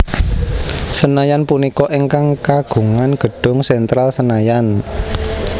Senayan punika ingkang kagungan gedung Sentral Senayan